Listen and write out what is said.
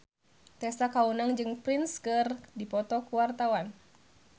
Tessa Kaunang jeung Prince keur dipoto ku wartawan